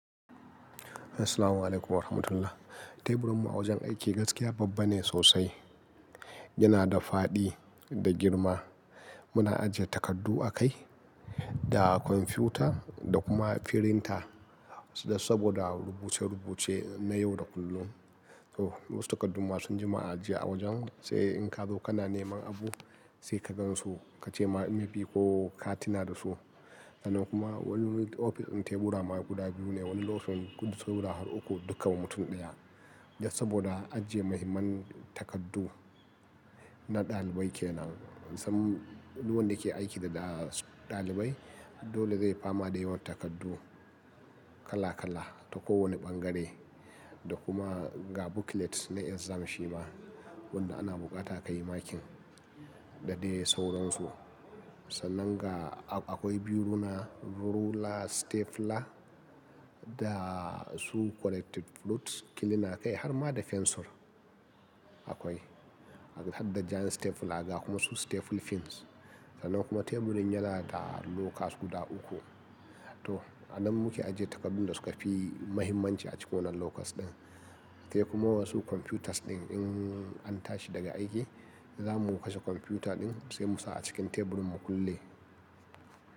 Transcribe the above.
Assalamu'alaikum wa rahmatullah. Taburinmu a wajen aiki gaskiya babba ne sosai. Yana da faɗi da girma. Muna ajiye takardu a kai da kwamfuta da kuma firinta. Saboda rubuce-rubuce na yau da kullum. To wasu takardu ma sun ji ma ajiye a wajen sai in ka zo kana neman abu sai ka gan su kace ma mai maybe ko ka tuna da su. Sannan kuma wani ofis tebura ma guda biyu ne, wani lokacin gudu sauro har uku dukka wa mutum ɗaya. Saboda a ajiye mahimman takardu na ɗalibai kenan. Sam, duk wanda ke aiki da ɗalibai dole zai fama da yawan takardu kala-kala ta kowane ɓangare. Da kuma ga booklet na exam shi ma wanda ana buƙata ka yi marking da dai sauransu. Sannan ga akwai biyu na rula, stapler da su corrective fluids. Kilina kai har ma da fensir akwai. Har da giant stapler ga kuma su staple pins. Sannan kuma teburin yanada lockers guda uku. Toh anan muke ajiye takardu da suka fi mahimmanci a cikin wannan lockers ɗin. Sai kuma wasu kwamfutas ɗin in an tashi daga aiki za mu kashe kwamfuta ɗin sai mu sa a cikin teburin mu kulle.